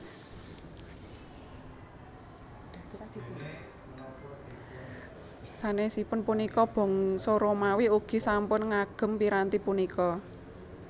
Sanèsipun punika bangsa Romawi ugi sampun ngagem piranti punika